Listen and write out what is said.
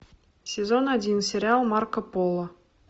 сезон один сериал марко поло